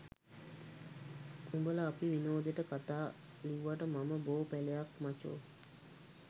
උඹල අපි විනෝදෙට කතා ලිව්වට මම බෝ පැලයක් මචෝ